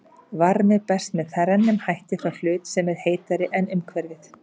Varmi berst með þrennum hætti frá hlut sem er heitari en umhverfið.